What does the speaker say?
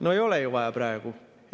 No ei ole ju vaja praegu!